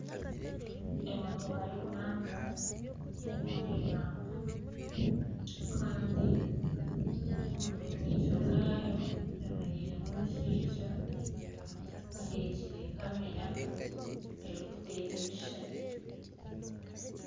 Emotoka y'okurambura eri omu eihamba kandi omu maisho gaayo hemereiremu omushaija aheekire kamera ey'okuteeza ebishushani.